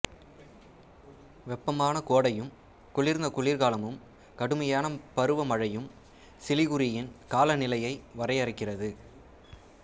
வெப்பமான கோடையும் குளிர்ந்த குளிர்காலமும் கடுமையான பருவமழையும் சிலிகுரியின் காலநிலையை வரையறுக்கிறது